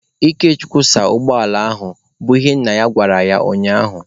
Ikechukwu saa ụgbọala ahụ! bụ ihe nna ya gwara ya ụnyaahụ.